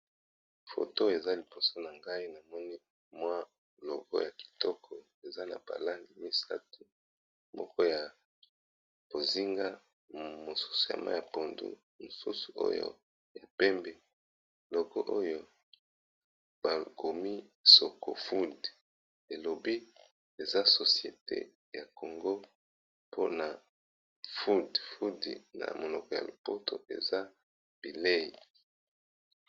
Foto eza liboso na ngai na moni mwa logo ya kitoko eza na ba langi misato moko ya bozinga, mosusu ya mayi ya pondu, mosusu oyo ya pembe. Logo oyo bakomi soko food elobi eza societe ya congo mpona food, na monoko ya lopoto eza bileyi.